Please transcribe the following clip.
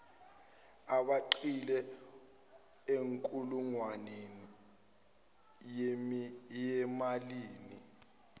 abeqile enkulungwaneni yimalini